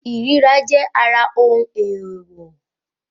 Ìríra jẹ́ ara ohun èèwọ̀